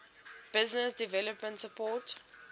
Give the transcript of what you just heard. business development support